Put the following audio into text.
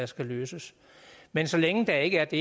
skal løses men så længe der ikke er det